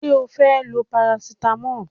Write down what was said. Ṣé o fẹ́ lo parasitamọ́ọ̀?